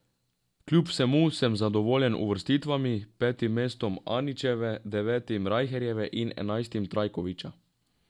Kljub vsemu sem zadovoljen uvrstitvami, petim mestom Anićeve, devetim Rajherjeve in enajstim Trajkoviča.